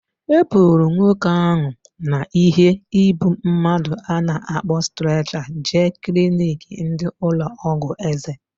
E buru nwoke ahu na ihe ịbụ mmadụ a na-akpọ streecha jee kliniki ndị ụlọ ọgwụ eze